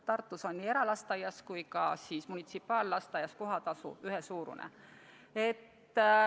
Tartus on eralasteaias ja munitsipaallasteaias kohatasu ühesuurune.